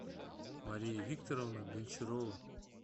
мария викторовна гончарова